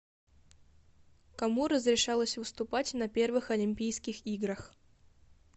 кому разрешалось выступать на первых олимпийских играх